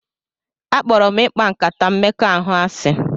Akpọrọ m ịkpa nkata mmekọahụ asị